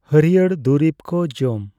ᱦᱟᱹᱲᱭᱟᱹᱨ ᱫᱩᱨᱤᱵ ᱠᱚ ᱡᱚᱢ᱾